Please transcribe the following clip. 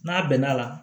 N'a bɛnn'a la